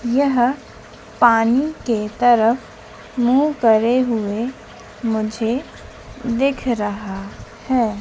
यह पानी के तरफ मुंह करे हुए मुझे दिख रहा है।